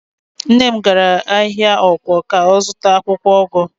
Nne m gara ahịa ọ̀kwọ̀ ka ọ zụta akwụkwọụgụ.